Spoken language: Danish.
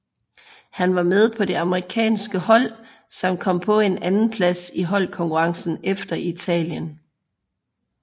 Han var med på det amerikanske hold som kom på en andenplads i holdkonkurrencen efter Italien